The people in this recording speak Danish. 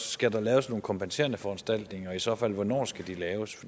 skal laves nogle kompenserende foranstaltninger og i så fald hvornår skal de laves